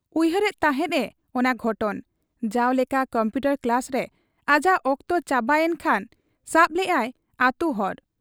ᱩᱭᱦᱟᱹᱨᱮᱫ ᱛᱟᱦᱮᱸᱫ ᱮ ᱚᱱᱟ ᱜᱷᱚᱴᱚᱱ ᱾ ᱡᱟᱣ ᱞᱮᱠᱟ ᱠᱚᱢᱯᱩᱴᱚᱨ ᱠᱞᱟᱥ ᱨᱮ ᱟᱡᱟᱜ ᱚᱠᱛᱚ ᱪᱟᱵᱟ ᱭᱮᱱ ᱠᱷᱟᱱ ᱥᱟᱵ ᱞᱮᱜ ᱟᱭ ᱟᱹᱛᱩ ᱦᱚᱨ ᱾